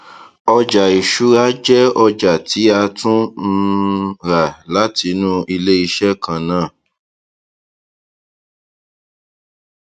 ọjà ìṣúra jẹ ọjà tí a tún um rà látinú iléiṣẹ kan náà